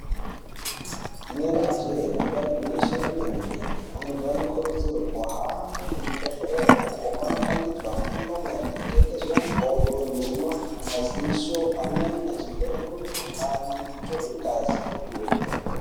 Inenge jee, yangwa igwinyisi remene-mene, antu anokurudzirwa kuhambe kuzvibhedhlera uko kwaanopangidzwe fundo maringe nemakodo, maziso amweni achivhenekwa mukuhlani kutorwa ngazi nekupihwa mutombo.